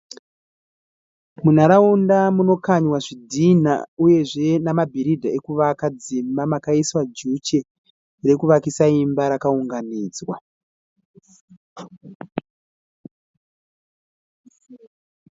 Munharaunda munokanyiwa zvidhinda uye zve nemabhiridha ekuvaka dzimba makaiswa jeche rakaunganidzwa.